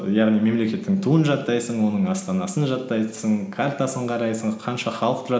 яғни мемлекеттің туын жаттайсың оның астанасын жаттайсың картасын қарайсың қанша халық тұрады